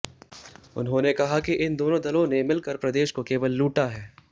उन्होने कहा कि इन दोनों दलों ने मिलकर प्रदेश को केवल लूटा है